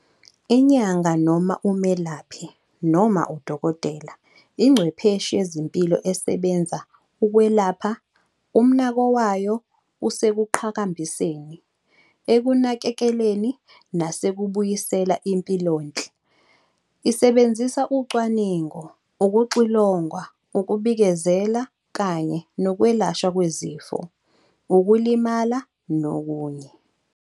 Inyanga, noma umelaphi, noma udokotela, ingcwepheshi yezempilo esebenza ukwelapha, umnako wayo usekuqhakambiseni, ekunakekeleni nasekubuyisela impilonhle isebenzisa ucwaningo, ukuxilongwa, ukubikezela kanye nokwelashwa kwezifo, ukulimala, nokunye.